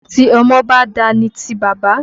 Tí ọmọ ba dà ni ti baba.